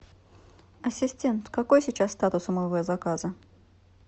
ассистент какой сейчас статус у моего заказа